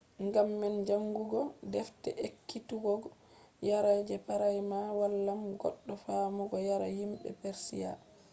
ngam man jaangugo defte ekkituggo yare je praima wallan goɗɗo faamugo yare yimɓe persiya